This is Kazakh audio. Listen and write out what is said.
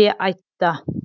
де айтты